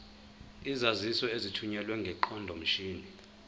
izaziso ezithunyelwe ngeqondomshini